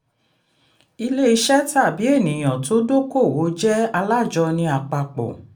ilé iṣẹ́ tàbí ènìyàn tó dókòwò jẹ́ alájọni àpapọ̀.